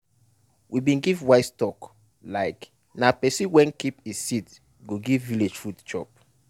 we bin give wise talk like"na person wey keep e seed go give village food chop"